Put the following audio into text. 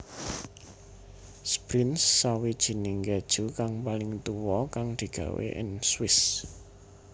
Sbrinz Sawijining keju kang paling tuwa kang digawé ing Swiss